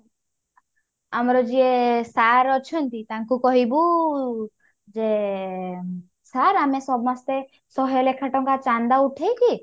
ଆମର ଯିଏ sir ଅଛନ୍ତି ତାଙ୍କୁ କହିବୁ ଯେ sir ଆମେ ସମସ୍ତେ ଶହେ ଲେଖା ଟଙ୍କା ଚାନ୍ଦା ଉଠେଇକି